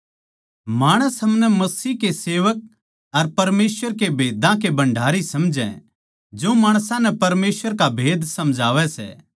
माणस हमनै मसीह के सेवक अर परमेसवर के भेदां के भण्डारी समझै जो माणसां नै परमेसवर का भेद समझावै सै